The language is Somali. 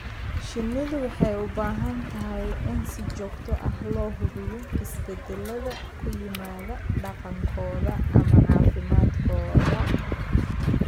Shinnidu waxay u baahan tahay in si joogto ah loo hubiyo isbeddellada ku yimaadda dhaqankooda ama caafimaadkooda.